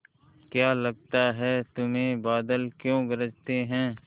क्या लगता है तुम्हें बादल क्यों गरजते हैं